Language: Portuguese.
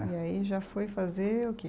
E aí já foi fazer o que?